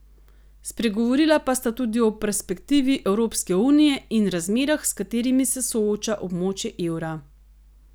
Spregovorila pa sta tudi o perspektivi Evropske unije in razmerah, s katerimi se sooča območje evra.